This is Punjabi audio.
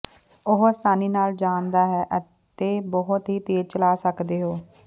ਉਹ ਆਸਾਨੀ ਨਾਲ ਜਾਣ ਦਾ ਹੈ ਅਤੇ ਬਹੁਤ ਹੀ ਤੇਜ਼ ਚਲਾ ਸਕਦੇ ਹੋ